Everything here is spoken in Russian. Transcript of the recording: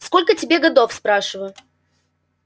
сколько тебе годов спрашиваю